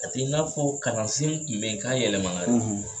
A te i n'a fɔ kalansen kun be yen k'a yɛlɛmana dɛ